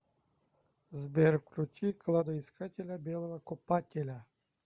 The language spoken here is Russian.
сбер включи кладоискателя белого копателя